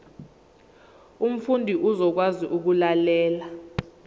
umfundi uzokwazi ukulalela